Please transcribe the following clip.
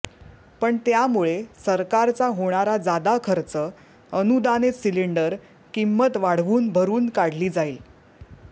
पण त्यामुळे सरकारचा होणारा जादा खर्च अनुदानित सिलिंडर किंमत वाढवून भरून काढली जाईल